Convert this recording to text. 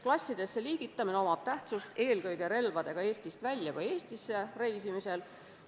Klassidesse liigitamine omab tähtsust eelkõige relvadega Eestist välja või Eestisse reisimisel.